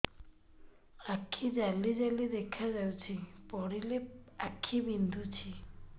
ଆଖି ଜାଲି ଜାଲି ଦେଖାଯାଉଛି ପଢିଲେ ଆଖି ବିନ୍ଧୁଛି